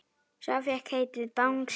Sá fékk heitið Bangsi.